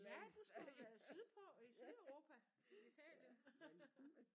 Ja du skulle jo være sydpå i Sydeuropa Italien